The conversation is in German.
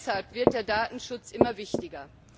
Auch deshalb wird der Datenschutz immer wichtiger.